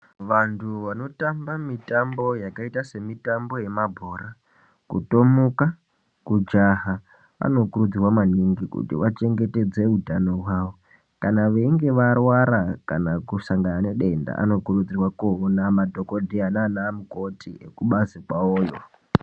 Vantu vanotamba mitambo yakaita semitambo yemabhora, kutomuka, kujaha anokurudzirwa maningi kuti vachengetedze utano hwavo. Kana veinge varwara kana vasangana nedenda, anokurudzirwa koona madhokodheya naanamukoti, kubazi kwavoyo.